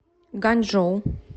ганьчжоу